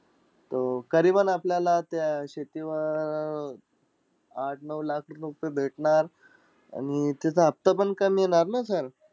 तो करीएबनं आपल्याला त्या शेतीवर अं आठ-नऊ लाख रुपये भेटणार आणि तिथं हफ्ता पण कमी येणार ना sir?